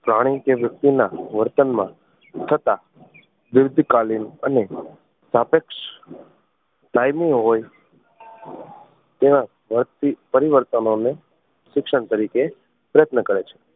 પ્રાણી કે વ્યક્તિ ના વર્તન માં થતાં દીર્ધ કાલીન અને સ્તાપેક્ષ કાયમી હોય એવા ઝડપી પરિવર્તનો ને શિક્ષણ તરીકે પ્રયત્ન કરે છે